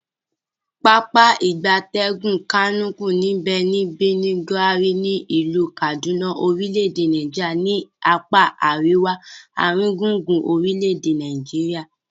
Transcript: Pápá ìgbatẹ́gùn Kamuku nbe ni Birnin, Gwari, ni ilu Kaduna orile-ede Nigeria ni apa ariwa aringbungbun orile ede Nigeria.